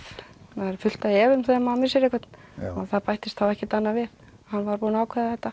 það er fullt af ef um þegar maður missir einhvern og það bættist þá ekkert annað við hann var búinn að ákveða þetta